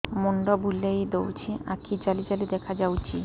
ମୁଣ୍ଡ ବୁଲେଇ ଦଉଚି ଆଖି ଜାଲି ଜାଲି ଦେଖା ଯାଉଚି